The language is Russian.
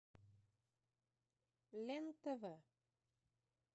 лен тв